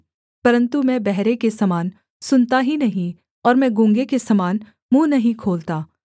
परन्तु मैं बहरे के समान सुनता ही नहीं और मैं गूँगे के समान मुँह नहीं खोलता